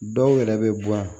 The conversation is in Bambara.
Dɔw yɛrɛ bɛ bɔ yan